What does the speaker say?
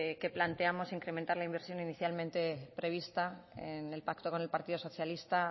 que planteamos incrementar la inversión inicialmente prevista en el pacto con el partido socialista